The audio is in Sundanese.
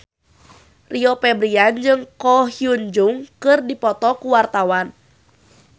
Rio Febrian jeung Ko Hyun Jung keur dipoto ku wartawan